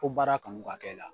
Fo baara kanu ka k'ɛ la